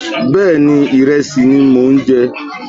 Bẹ́ẹ̀ni, ìrẹsì ni mò ń jẹ